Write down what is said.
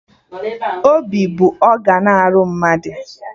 Obi bụ ọgan arụ mmadụ